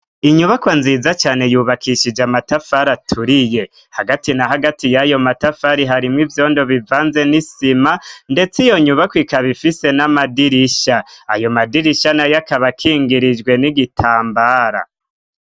inyubako nziza cane yubakishije amatafari aturiye hagati na hagati y'ayo matafari harimwo ivyondo bivanze n'isima ndetse iyo nyubako ikaba ifise n'amadirisha ayo madirisha na yakaba kingirijwe n'igitambara